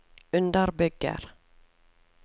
underbygger